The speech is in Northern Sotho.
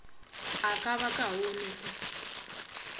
a ka ba kaone o